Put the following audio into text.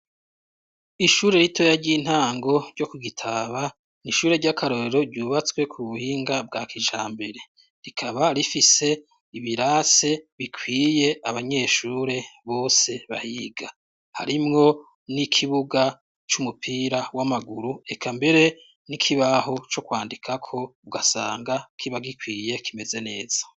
Ishure ritoya ry' intango ryo ku Gitaba, ni ishuri ry' akarorero ryubatswe ku buhinga bwa kijambere. Rikaba rifise ibirasi bikwiye abanyeshure bose bahiga. Harimwo n' ikibuga c' umupira w' amaguru, eka mbere n' ikibaho co kwandikako, ugasanga kiba gikwiye kimeze neza.